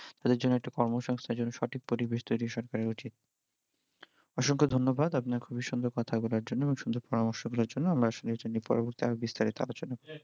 তাদের জন্য একটা কর্ম সংস্থান জন্য একটা সঠিক পরিবেশ তৈরি সরকারের উচিৎ অসংখ্য ধন্যবাদ আপনি খুবিই সুন্দর কথা বলার জন্য এবং সুন্দর পরামর্শ গুলোর জন্য, আমরা আসলে এগুলো নিয়ে পরে আর বিস্তারিত আলচনা করব